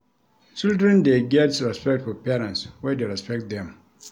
Children dey get respect for parents wey dey respect dem.